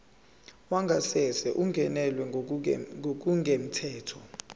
wangasese ungenelwe ngokungemthetho